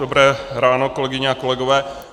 Dobré ráno, kolegyně a kolegové.